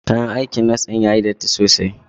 Kayan aikin nas din yayi datti sosai.